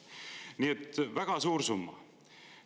Nii et väga suur summa.